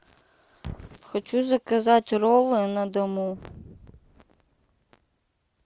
хочу заказать роллы на дому